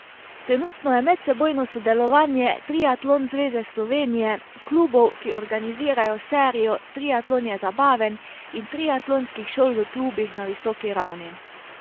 Trenutno je medsebojno sodelovanje Triatlon zveze Slovenije, klubov, ki organizirajo serijo Triatlon je zabaven, in triatlonskih šol v klubih na visoki ravni.